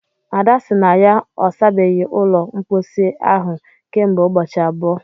Ada sị na ya ọ sabeghị ụlọ mposi ahụ kemgbe ụbọchị abụọ